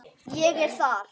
Ég er þar.